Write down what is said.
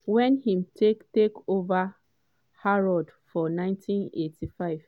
wen im take take over harrods for 1985.